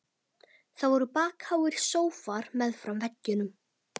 Það voru bakháir sófar meðfram veggjunum.